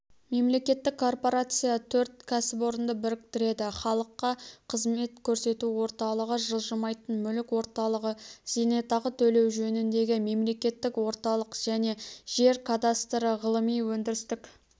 мемлекеттік корпорация төрт кәсіпорынды біріктіреді халыққа қызмет көрсету орталығы жылжымайтын мүлік орталығы зейнетақы төлеу жөніндегі мемлекеттік орталық және жер кадастры ғылыми-өндірістік